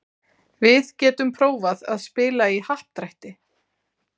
Við getum prófað að spila í happdrætti.